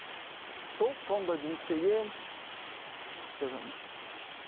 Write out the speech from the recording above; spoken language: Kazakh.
сол цон да жұмыс істегенмін что там еще